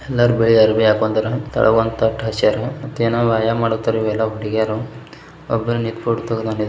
ಎಲ್ಲರು ಬಿಳಿ ಅರಬಿ ಹಾಕಿದರೆ ಕೆಲಗೊಂಡು ಅರಬಿ ಹಾಸರ ಏನಪ್ಪಾ ಏನ್ ಮಾಡ್ತಾರಾ ಹುಡಿಗಿರು ಒಬ್ರೆ ನಿಂತು ಫೋಟೋ ತಗೊಂಡರ್ --